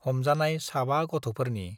हमजानाय साबा गथ'फोरनि